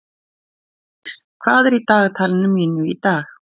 Fjalldís, hvað er í dagatalinu mínu í dag?